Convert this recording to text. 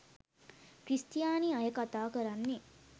ක්‍රිස්තියානි අය කතා කරන්නේ.